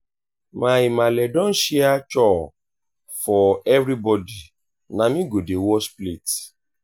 my maale don share chore for everybodi na me go dey wash plate.